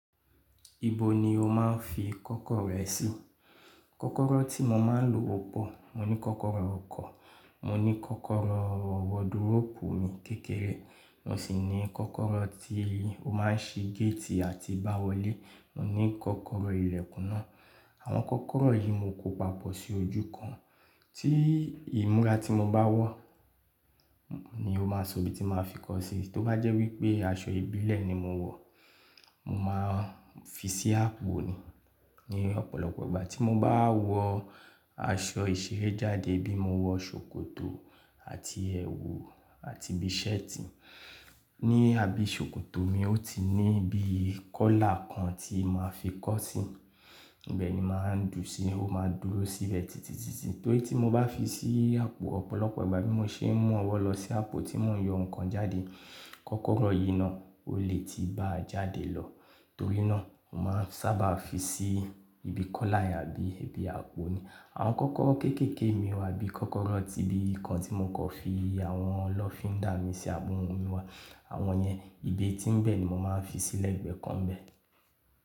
Níbo ni o máa ń fi kọ́kọ́rọ́ rẹ sí? Kọ́kọ́rọ́ tí mo máa ń lò o pọ̀. Mo ní kọ́kọ́rọ́ ọkọ̀, mo ní kọ́kọ́rọ́ wo dúrọ̀pù mi kékeré, mo sì ní kọ́kọ́rọ́ tí o máa ń ṣí géètì àti bá wọlé, mo ní kọ́kọ́rọ́ ilẹ̀kùn náà. Àwọn kọ́kọ́rọ́ yìí mo kó papọ̀ sí ojú kan, tí ìmúra tí mo bá wa ni ó máa sọ ibi tí màá fi kọ́ ọ sí. Tó bá jẹ́ wípé aṣọ ìbílẹ̀ ni mo wọ̀, màá fi sí àpò ni. Ni ọ̀pọ̀lọpọ̀ ìgbà tí mo bá wọ aṣọ ìṣeré jáde bí mo wọ ṣòkòtò àti ẹwù àti bí i ṣẹ́ẹ̀tì, ní abẹ́ ṣòkòtò mi ó ti ní ibi ikọ́là kan tí màá fi kọ́ ọ sí, bẹ́ẹ̀ ni màá ń dùnsi, ó máa dúró síbẹ̀ tìtìtìtì. Torí tí mo bá fi sí àpò, ọ̀pọ̀lọpọ̀ ìgbà bí mo ṣe ń mú ọwọ́ lọ sí àpò tí mò ń yọ nǹkan jáde, kọ́kọ́rọ́ yìí náà, ó lè tíì bá a jáde lọ. Torí náà, màá sábà fi sí ibi kọ́là àbí ibi àpò ni. Àwọn kọ́kọ́rọ́ kéékèèké mi wà bí i kọ́kọ́rọ́ tí bí i kan tí mo kò fi àwọn lọ́fíndà mi sí àbò wọn wíwá, àwọn ẹnyè, ibi ẹ tín bẹ́ẹ̀ ni mò máa ń fi sílẹ̀ ìgbẹ́ kan bẹ́ẹ̀.